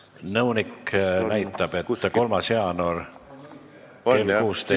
Nõunik näitab, et 3. jaanuar kell 16.